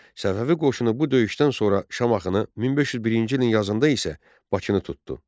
Səfəvi qoşunu bu döyüşdən sonra Şamaxını 1501-ci ilin yazında isə Bakını tutdu.